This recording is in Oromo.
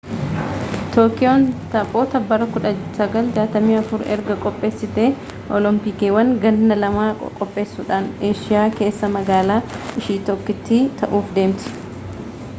tookiyoon taphoota bara 1964 erga qopheessitee oolompiikiiwwan gannaa lama qopheessuudhaaneeshiyaa keessaa magaalaa ishii tokkittii ta'uuf deemti